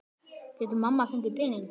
Getur mamma fengið pening?